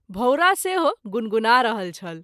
भौंरा सेहो गुणगुणा रहल छल।